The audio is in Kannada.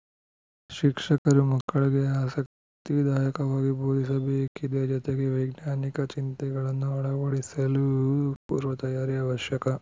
ಶಿಕ್ಷಕರು ಮಕ್ಕಳಿಗೆ ಆಸಕ್ತಿದಾಯಕವಾಗಿ ಬೋಧಿಸಬೇಕಿದೆ ಜೊತೆಗೆ ವೈಜ್ಞಾನಿಕ ಚಿಂತನೆಗಳನ್ನು ಅಳವಡಿಸಲು ಪೂರ್ವ ತಯಾರಿ ಅವಶ್ಯಕ